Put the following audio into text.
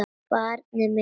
Barn mitt.